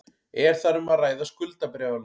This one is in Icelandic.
Er þar um að ræða skuldabréfalán